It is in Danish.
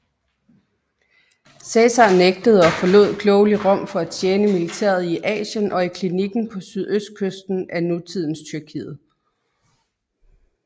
Cæsar nægtede og forlod klogelig Rom for at tjene militæret i Asien og i Kilikien på sydøstkysten af nutidens Tyrkiet